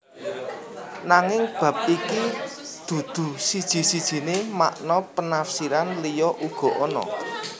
Nanging bab iki dudu siji sijiné makna penafsiran liya uga ana